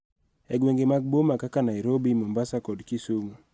E gwenge mag boma kaka Nairobi, Mombasa, kod Kisumu,